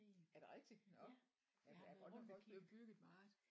Er det rigtigt nåh ja der er godt nok også blevet bygget meget